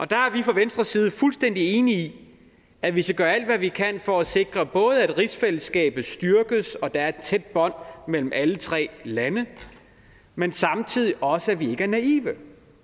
der er vi fra venstres side fuldstændig enige i at vi skal gøre alt hvad vi kan for at sikre både at rigsfællesskabet styrkes og at der er et tæt bånd mellem alle tre lande men samtidig også at vi ikke er naive